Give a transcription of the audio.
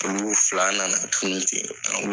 fila na na tunu ten